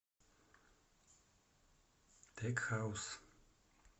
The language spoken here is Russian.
тек хаус